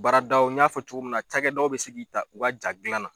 Baaradaw n ɲa fɔ cogo min na, cakɛdaw bi se k'i ta, u ka ja gilan na.